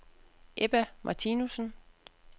Ebba Martinussen